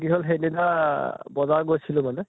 কি হʼল সেইদিনা বজাৰ গৈছিলো মানে